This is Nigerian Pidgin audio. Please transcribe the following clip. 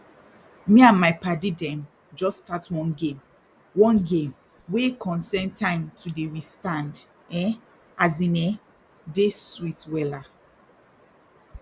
me and my padi dem jus start one game one game wey concern time to dey restand e as in eh dey sweet wella